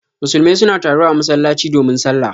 Musulmai suna taruwa a masallatai domin sallah.